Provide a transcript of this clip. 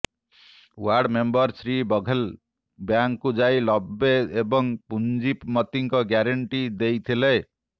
ward member Shri Baghel ବ୍ୟାଙ୍କକୁ ଯାଇ ଲବେ ଏବଂ ପୁଞ୍ଜିମତୀଙ୍କ ଗ୍ୟାରେଣ୍ଟି ଦେଇଥିଲେ